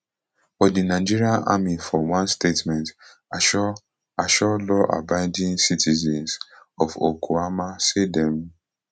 but di nigerian army for one statement assure assure lawabiding citizens of okuama say dem